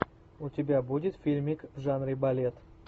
у тебя будет фильмик в жанре балет